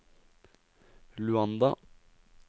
Luanda